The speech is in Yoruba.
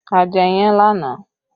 A jẹ iyán lánàá